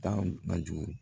Taa bajugu